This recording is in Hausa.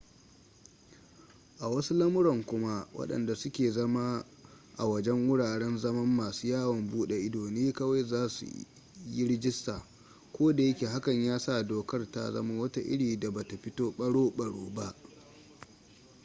a wasu lamuran kuma wadanda suke zama a wajen wuraren zaman masu yawon bude ido ne kawai za su yi rajista ko da yake hakan ya sa dokar ta zama wata iri da bata fito baro-baro ba